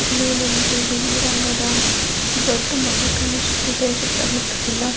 ಇಲ್ಲಿ ನನಗೆ ಬಿಳಿ ರಂಗದ ದೊಡ್ಡ ಮನೆ ಕಾಣಿಸುತ್ತಿದೆ ಸುತ್ತ ಮುತ್ತ ಎಲ್ಲ --